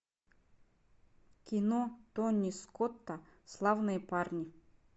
кино тони скотта славные парни